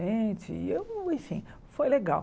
e eu enfim, foi legal.